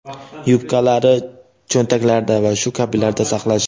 yubkalari cho‘ntaklarida va shu kabilarda saqlash;.